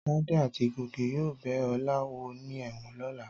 Tádé àti Gòkè yóò bẹ Ọlá wò ní ẹ̀wọ̀n lọ́la.